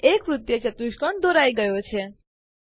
એક વૃત્તીય ચતુષ્કોણ દોરાઈ ગયો છે